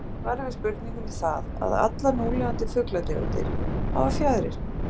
Því er svarið við spurningunni það, að allar núlifandi fuglategundir hafa fjaðrir.